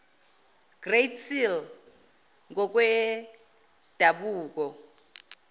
great seal ngokwedabuko